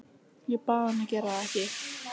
Ég bað hann að gera það ekki.